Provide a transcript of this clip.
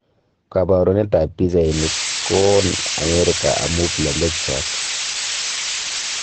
Kabarunet ab pichainik, ko oon Amerika amu plembechuat